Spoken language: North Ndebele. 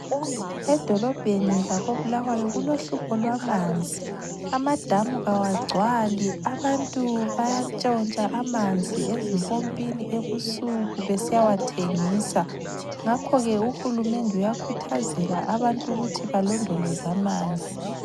Edolobheni lakoBulawayo kulohlupho lwamanzi. Amadamu kawagcwali. Abantu bayatshontsha amanzi ezimpompini ebusuku besiyawathengisa, ngakho ke Uhulumende uyakhuthazela abantu ukuthi balondoloze amanzi.